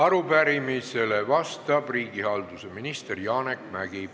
Arupärimisele vastab riigihalduse minister Janek Mäggi.